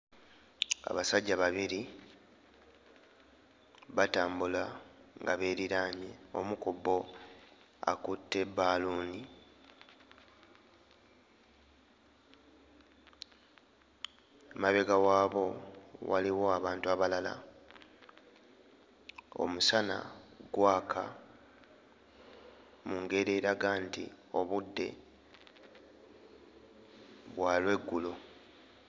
Abasajja babiri batambula nga beeriraanye. Omu ku bo akutte bbaaluuni, emabega waabo waliwo abantu abalala. Omusana gwaka mu ngeri eraga nti obudde bwa lweggulo.